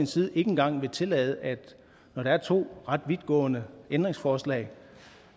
side ikke engang vil tillade når der er to ret vidtgående ændringsforslag